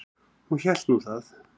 Hún hélt nú það.